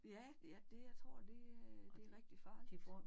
Ja ja det jeg tror det det er rigtig farligt